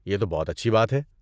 یہ تو بہت اچھی بات ہے۔